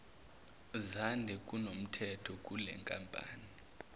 zande kunomthetho kulenkampani